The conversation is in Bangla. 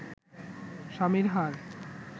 স্বামীর হাড়